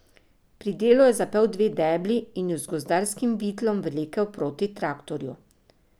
Pri delu je zapel dve debli in ju z gozdarskim vitlom vlekel proti traktorju.